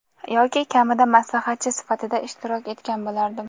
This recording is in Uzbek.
yoki kamida maslahatchi sifatida ishtirok etgan bo‘lardim.